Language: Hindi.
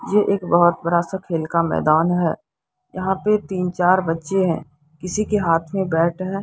ये एक बहुत बड़ा सा खेल का मैदान है यहाँ पे तीन चार बच्चे है किसी के हाथ मे बैट है।